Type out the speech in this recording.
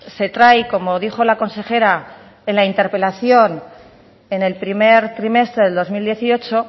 se trae como dijo la consejera en la interpelación en el primer trimestre del dos mil dieciocho